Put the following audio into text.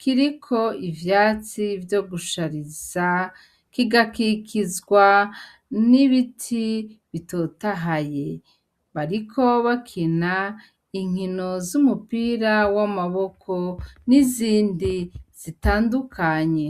kiriko ivyatsi vyogushariza ,kigakikizwa n'ibiti bitotahaye, bariko bakina inkino z'umupira w'amaboko, n'izindi zitandukanye.